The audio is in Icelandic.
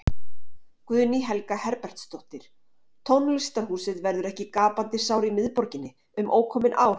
Guðný Helga Herbertsdóttir: Tónlistarhúsið verður ekki gapandi sár í miðborginni, um ókomin ár?